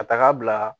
Ka taga bila